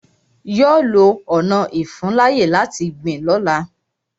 Yọ lọ ọna ìfuńláyè láti gbìn lọ́la.